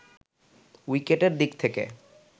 উইকেটের দিক থেকে